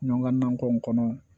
Ɲɔgɔn nakɔ in kɔnɔ